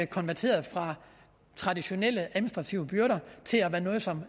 konverteret fra traditionelle administrative byrder til at være noget som